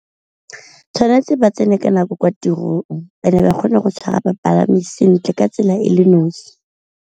Tshwanetse ba tsene ka nako kwa tirong and-e ba kgone go tshwara bapalami sentle ka tsela e le nosi.